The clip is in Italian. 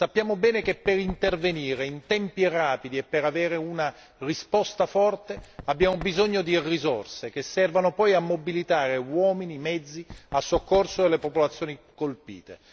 Sappiamo bene che per intervenire in tempi rapidi e per avere una risposta forte abbiamo bisogno di risorse che servano poi a mobilitare uomini e mezzi a soccorso delle popolazioni colpite.